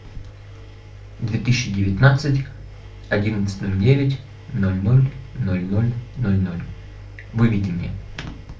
две тысячи девятнадцать одиннадцать ноль девять ноль ноль ноль ноль ноль ноль выведи мне